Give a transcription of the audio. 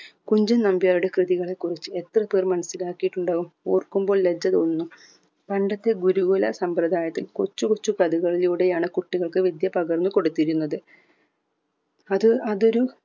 കുഞ്ചൻ നമ്പ്യാരുടെ കൃതികളെ കുറിച്ച് എത്ര പേർ മനസ്സിലാകിയിട്ടുണ്ടാവും ഓർക്കുമ്പോൾ ലജ്ജ തോന്നുന്നു പണ്ടത്തെ ഗുരുകുല സമ്പ്രദായത്തിൽ കൊച്ച് കൊച്ച് പ്രതികളിലൂടെയാണ് കുട്ടികൾക് വിദ്യ പകർന്ന് കൊടുത്തിരുന്നത് അത് അതൊരു